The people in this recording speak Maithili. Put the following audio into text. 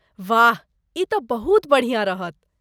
वाह, ई तँ बहुत बढ़िया रहत।